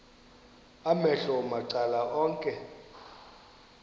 amehlo macala onke